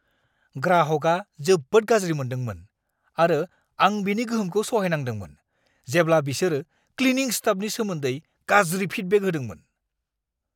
ग्राहकआ जोबोद गाज्रि मोनदोंमोन आरो आं बेनि गोहोमखौ सहायनांदोंमोन जेब्ला बिसोर क्लिनिं स्टाफनि सोमोन्दै गाज्रि फिडबेक होदोंमोन।